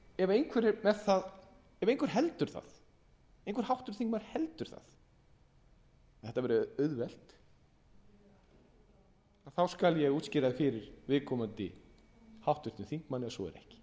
og ef einhver háttvirtur þingmaður heldur að þetta verði auðvelt þá skal ég útskýra það fyrir viðkomandi háttvirtum þingmanni